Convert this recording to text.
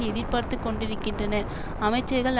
எதிர்பார்த்து கொண்டிருக்கின்றன அமைச்சர்கள்